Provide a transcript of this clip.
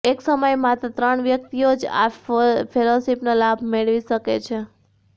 એક સમયે માત્ર ત્રણ વ્યક્તિઓ જ આ ફેલોશીપનો લાભ મળવી શકશે